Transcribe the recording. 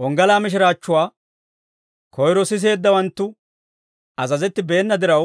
Wonggalaa mishiraachchuwaa koyro siseeddawanttu azazettibeena diraw,